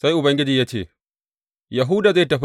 Sai Ubangiji ya ce, Yahuda zai tafi.